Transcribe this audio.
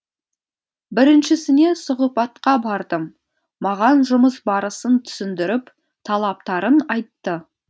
біріншісіне сұхбатқа бардым маған жұмыс барысын түсіндіріп талаптарын айтты